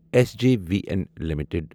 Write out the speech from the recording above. S J V N limited